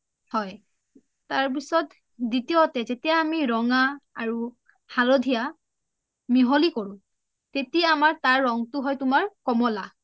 হয় তাৰপিছত দুতিয়তে যেতিয়া আমি ৰঙা আৰু হালধীয়া মিহলি কৰো তেতিয়া আমাৰ তাৰ ৰংটো হয় তুমাৰ কমলা